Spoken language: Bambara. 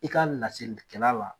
I ka laseli kɛla la.